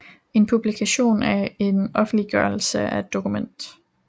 En publikation er et offentliggjort dokument